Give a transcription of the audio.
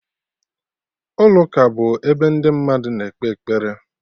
Ụlọ ụka bụ ebe ndị mmadụ na-ekpe ekpere